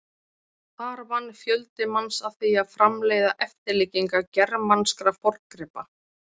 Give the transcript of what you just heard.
Þar vann fjöldi manns að því að framleiða eftirlíkingar germanskra forngripa.